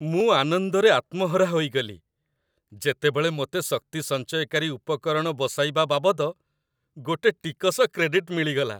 ମୁଁ ଆନନ୍ଦରେ ଆତ୍ମହରା ହୋଇଗଲି, ଯେତେବେଳେ ମୋତେ ଶକ୍ତି ସଞ୍ଚୟକାରୀ ଉପକରଣ ବସାଇବା ବାବଦ ଗୋଟେ ଟିକସ କ୍ରେଡିଟ୍ ମିଳିଗଲା।